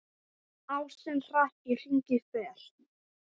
Ásinn hratt í hringi fer.